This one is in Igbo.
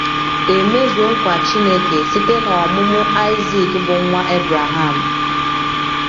E mezuo nkwa Chineke site n’ọmụmụ Aịzik bụ́ nwa Ebreham.